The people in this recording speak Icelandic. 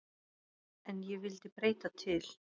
En ég vildi breyta til.